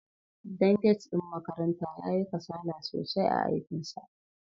Dan gate ɗin makaranta yayi kasala sosai a aikinsa.